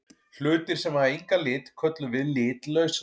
Hlutir sem hafa engan lit köllum við litlausa.